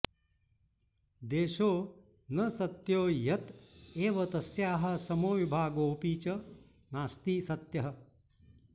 देशो न सत्यो ह्यत एव तस्याः समो विभागोऽपि च नास्ति सत्यः